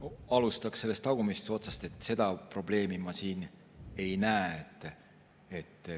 Alustaks sellest tagumisest otsast: seda probleemi ma siin ei näe.